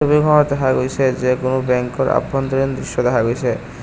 ছবিখনত দেখা গৈছে যে কোনো বেংকৰ আভ্যন্তৰীণ দৃশ্য দেখা গৈছে।